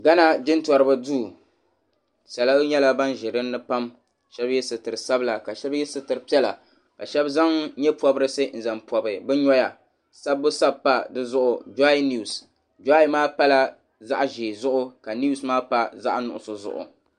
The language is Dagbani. Ghana jintoriba duu salo nyɛla ban be dini ni pam ka shɛba ye sitiri sabila ka shɛba zaŋ nye'pɔbirisi n-zaŋ pɔbi bɛ nɔya sabbu sabi pa di zuɣu joyi niwusi joyi maa pala zaɣ'ʒee zuɣu ka niwusi maa pa zaɣ'nuɣuso zuɣu.